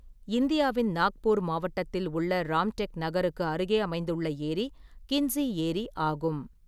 இந்தியாவின் நாக்பூர் மாவட்டத்தில் உள்ள ராம்டெக் நகருக்கு அருகே அமைந்துள்ள ஏரி கிண்ட்ஸி ஏரி ஆகும்.